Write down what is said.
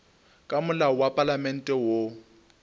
ka molao wa palamente woo